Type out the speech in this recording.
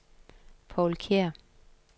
Povl Kjær